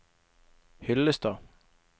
Hyllestad